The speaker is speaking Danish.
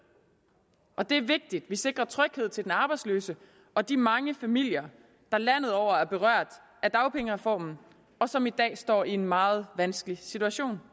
og det er vigtigt vi sikrer tryghed til den arbejdsløse og de mange familier der landet over er berørt af dagpengereformen og som i dag står i en meget vanskelig situation